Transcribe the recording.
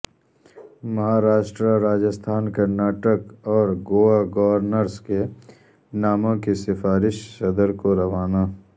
مہاراشٹرا راجستھان کرناٹک اور گوا گورنرس کے ناموں کی سفارش صدر کو روانہ